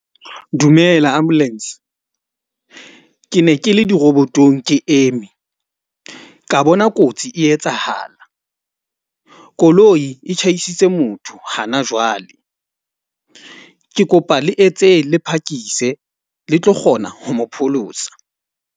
Dumela ambulance. Ke ne ke le di-robot-ong ke eme ka bona kotsi e etsahala, koloi e tjhaisitse motho hana jwale. Ke kopa le etse le phakise le tlo kgona ho mo pholosa.